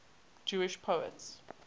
jewish poets